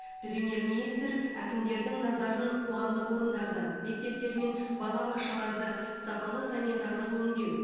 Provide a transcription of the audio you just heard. премьер министр әкімдердің назарын қоғамдық орындарды мектептер мен балабақшаларды сапалы санитарлық өңдеу